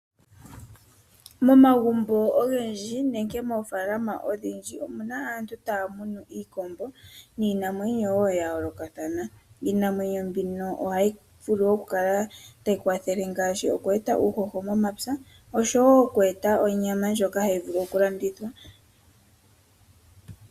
Momagumbo ogendji nenge moofaalama odhindji omuna aantu taya munu iikombo niinamwenyo wo ya yoolokathana. Iinamwenyo mbino ohayi vulu oku kala tayi kwathele ngaashi oku e ta uuhoho momapya oshowo oku e ta onyama ndjoka hayi vulu oku landithwa.